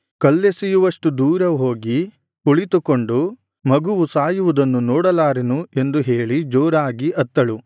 ಕಲ್ಲೆಸೆಯುವಷ್ಟು ದೂರ ಹೋಗಿ ಕುಳಿತುಕೊಂಡು ಮಗುವು ಸಾಯುವುದನ್ನು ನೋಡಲಾರೆನು ಎಂದು ಹೇಳಿ ಜೋರಾಗಿ ಅತ್ತಳು